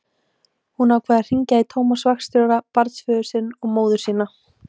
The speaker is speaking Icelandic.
Hún ákvað að hringja í Tómas vaktstjóra, barnsföður sinn og móður sína.